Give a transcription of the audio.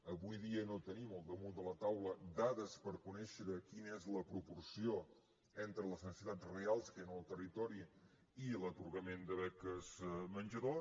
avui dia no tenim al damunt de la taula dades per conèixer quina és la proporció entre les necessitats reals que hi han al territori i l’atorgament de beques menjador